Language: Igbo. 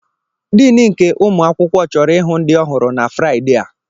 Diini nke ụmụ akwụkwọ chọrọ ịhụ ndị ọhụrụ na Fraịde a.